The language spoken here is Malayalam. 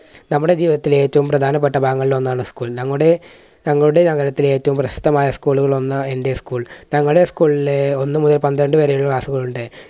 നമ്മുടെ ജീവിതത്തിലെ ഏറ്റവും പ്രധാനപ്പെട്ട ഭാഗങ്ങളിൽ ഒന്നാണ് school. ഞങ്ങളുടെ ഞങ്ങളുടെ നഗരത്തിലെ ഏറ്റവും പ്രശസ്തമായ school കളിൽ ഒന്ന് എൻറെ school. ഞങ്ങളുടെ school ലെ ഒന്നു മുതൽ പന്ത്രണ്ട് വരെയുള്ള class കൾ ഉണ്ട്.